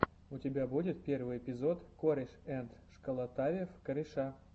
у тебя будет первый эпизод корешэндшколотавев кореша